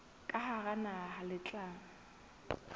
ka hara naha le tla